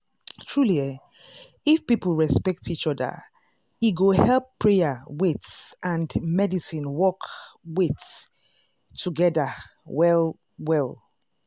truely eeh if people respect each oda e go help prayer wait and medicine work wait- togeda well well.